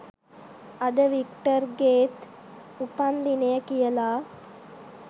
අද වික්ටර්ගෙත් උපන් දිනය කියලා.